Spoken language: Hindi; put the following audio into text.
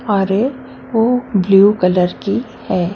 अरे वो ब्लू कलर की है।